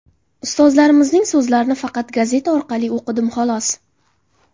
Ustozlarimizning so‘zlarini faqat gazeta orqali o‘qidim, xolos.